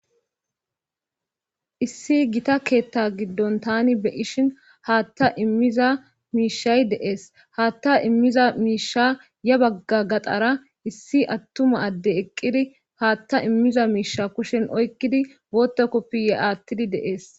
issi gita keetta giddon tani be'ishin haatta immiza miishay dee'es haatta immiza miisha ya bagga gaxara issi attuma adde eqqidi haatta immiza miisha kushen oykkidi bootta koppiyye aattidi de'ees